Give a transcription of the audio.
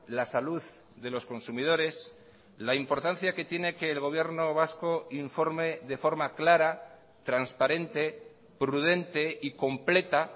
la salud de los consumidores la importancia que tiene que el gobierno vasco informe de forma clara transparente prudente y completa